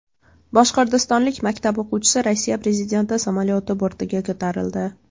Boshqirdistonlik maktab o‘quvchisi Rossiya prezidenti samolyoti bortiga ko‘tarildi .